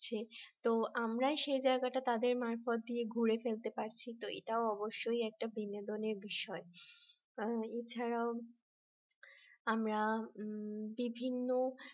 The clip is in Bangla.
তো আমরা সেই জায়গাটা তাদের মারফত দিয়ে ঘুরে ফেলতে পারছি তো এটা অবশ্যই একটা বিনোদনের বিষয়